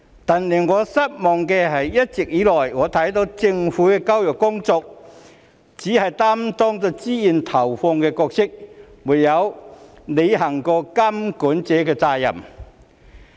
但令我失望的是，一直以來，我看到政府在教育工作中只是擔當投放資源的角色，沒有履行過監管者的責任。